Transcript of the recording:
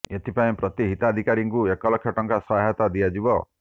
ଏଥିପାଇଁ ପ୍ରତି ହିତାଧିକାରୀଙ୍କୁ ଏକ ଲକ୍ଷ ଟଙ୍କା ସହାୟତା ଦିଆଯିବ